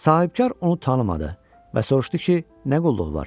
Sahibkar onu tanımadı və soruşdu ki, nə qulluq var?